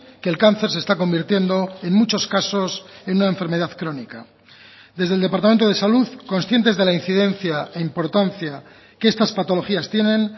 que el cáncer se está convirtiendo en muchos casos en una enfermedad crónica desde el departamento de salud conscientes de la incidencia e importancia que estas patologías tienen